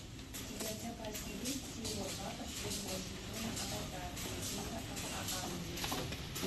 у тебя в запасе есть серия два последнего сезона аватар легенда об аанге